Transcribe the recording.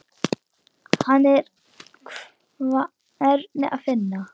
Hana er hvergi að finna.